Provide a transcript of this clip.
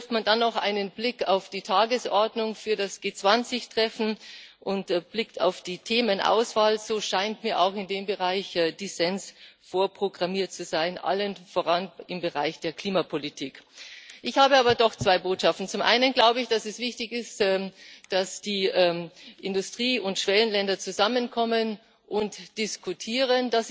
Wirft man dann noch einen Blick auf die Tagesordnung für das G20 Treffen und blickt auf die Themenauswahl, so scheint mir auch in dem Bereich Dissens vorprogrammiert zu sein, allen voran im Bereich der Klimapolitik. Ich habe aber doch zwei Botschaften Zum einen glaube ich, dass es wichtig ist, dass die Industrie und Schwellenländer zusammenkommen und diskutieren.